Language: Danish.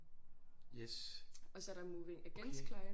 Yes. Okay